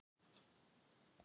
Höfðu hafmeyjar æxlunarfæri?